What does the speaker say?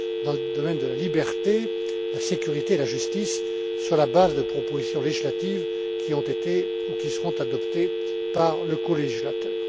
dans le domaine de la liberté, de la sécurité et de la justice, sur la base de propositions législatives qui ont été ou qui seront adoptées par le colégislateur.